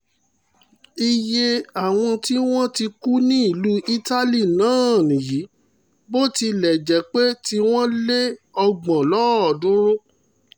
iye àwọn tí wọ́n ti kú ní ìlú italy náà nìyí bó tilẹ̀ jẹ́ pé tiwọn lé ọgbọ̀n lọ́ọ̀ọ́dúnrún